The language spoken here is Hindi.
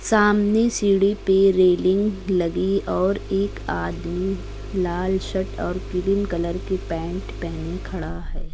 सामने सीढ़ी पे रेलिंग लगी और एक आदमी लाल शर्ट और क्रीम कलर की पैंट पहने खड़ा है।